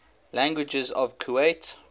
languages of kuwait